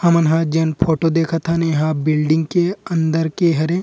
हमन हा जेन फोटो देखत हन इंहा बिल्डिंग के अंदर के हरे।